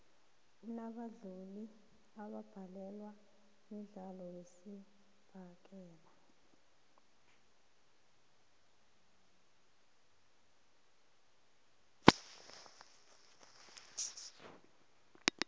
unabadlali abambadlwana umdlalo wesibhakela